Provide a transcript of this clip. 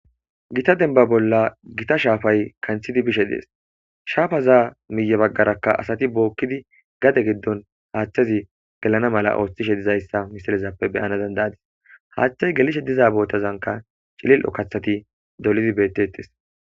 Gitta demba bolla gitta shapay kanthidi beshe does. Shapaza miye bagaraka asati bokidi gade gidon hathezi gelana mala othishe dizaysa haysa misilezape beyana danda'adis. Hathey gelishe diza bottazanka c'ililo kathati dolidi betetes